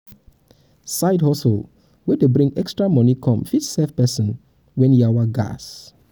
side hustle wey dey um bring extra money come fit save person when when um yawa um gas